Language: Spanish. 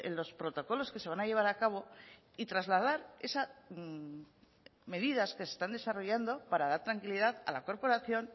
los protocolos que se van a llevar a cabo y trasladar esas medidas que se están desarrollando para dar tranquilidad a la corporación